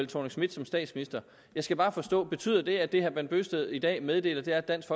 thorning schmidt som statsminister jeg skal bare forstå betyder det at det herre bent bøgsted i dag meddeler er at dansk